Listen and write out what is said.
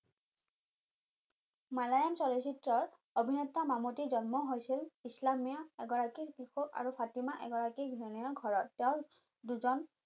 মালায়াম চলচিত্ৰৰ অভিনেতা মামতিৰ জন্ম হৈছিল ইছলামীয় এগৰাকী আৰু ফাটিমা এগৰাকী ঘৰত তেওঁৰ দুজন